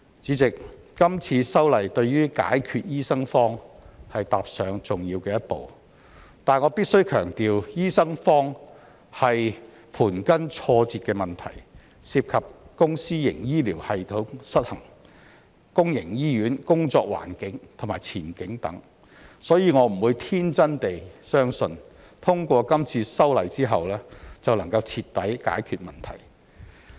主席，今次修例對於解決醫生荒踏上了重要的一步，但我必須強調，醫生荒是盤根錯節的問題，涉及公私營醫療系統失衡、公營醫院工作環境和前景等，所以我不會天真地相信通過今次修例後便能徹底解決問題。